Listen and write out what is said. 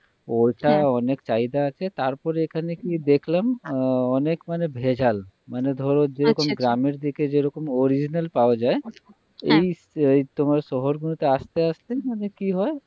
ওটা অনেক চাহিদা আছে তারপরে এখানে কি দেখলাম অনেক মানে ভেজাল মানে ধরো যে গ্রামেরদিকে যেরকম original পাওয়া যায় এই এই তোমার শহর গুলোতে আস্তে আস্তে মানে কি হয়